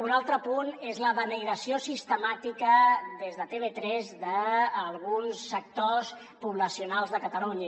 un altre punt és la denigració sistemàtica des de tv3 d’alguns sectors poblacionals de catalunya